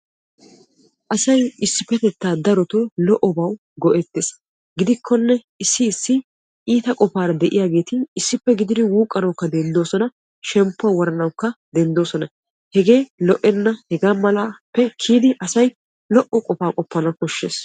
Asay issipetetta darotto lo'obawu go'ettees. Gidikkonne issi issi asatti iittabawu go'ettees ubbakka shemppuwa woranakka qoppees, hagee lo'enna.